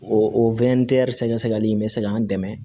O o wɛntɛri sɛgɛsɛgɛli in bɛ se k'an dɛmɛ